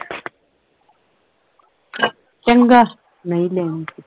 ਚੰਗਾ ਨਹੀਂ ਲੈਣੀ ਤੇ